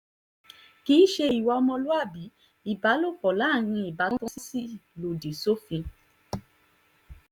kì í ṣe ìwà ọmọlúàbí ìbálòpọ̀ láàrin ìbátan sì lòdì sófin